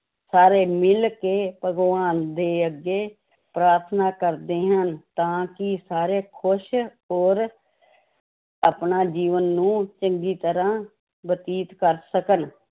ਸਾਰੇ ਮਿਲ ਕੇ ਭਗਵਾਨ ਦੇ ਅੱਗੇ ਪ੍ਰਾਰਥਨਾ ਕਰਦੇ ਹਨ ਤਾਂ ਕਿ ਸਾਰੇ ਖ਼ੁਸ਼ ਔਰ ਆਪਣਾ ਜੀਵਨ ਨੂੰ ਚੰਗੀ ਤਰ੍ਹਾਂ ਬਤੀਤ ਕਰ ਸਕਣ।